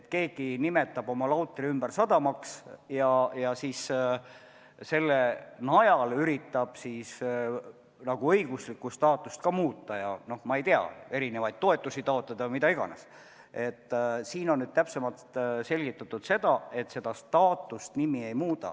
Kui keegi nimetab oma lautri ümber sadamaks ja üritab selle najal lautri õiguslikku staatust muuta ja näiteks erinevaid toetusi taotleda, siis nüüd on siin täpsemalt selgitatud, et nimeobjekti staatust nimi ei muuda.